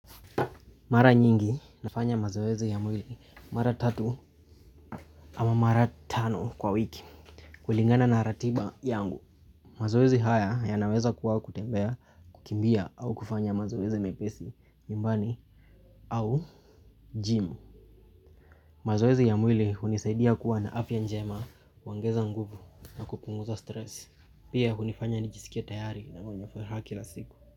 Mara nyingi nafanya mazoezi ya mwili mara tatu ama mara tano kwa wiki. Kulingana na ratiba yangu. Mazoezi haya ya naweza kuwa kutembea, kukimbia au kufanya mazoezi mepesi, nyumbani au gym. Mazoezi ya mwili hunisaidia kuwa na afya njema huongeza nguvu na kupunguza stress. Pia hunifanya nijisikie tayari na mwenye furaha kila siku.